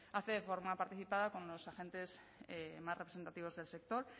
hace de forma participada con los agentes más representativos del sector